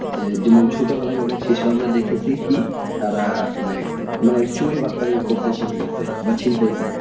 আহ যেমন ছোট বেলাই অনেক শিশু আমরা দেখেছি কি তারা অনেকমানে চুরি বাটপারি করতে শিখে গিয়েছে বা ছিনতাই